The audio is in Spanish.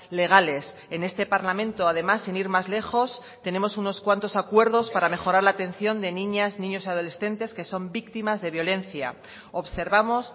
legales en este parlamento además sin ir más lejos tenemos unos cuantos acuerdos para mejorar la atención de niñas niños y adolescentes que son víctimas de violencia observamos